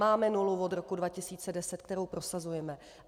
Máme nulu od roku 2010, kterou prosazujeme.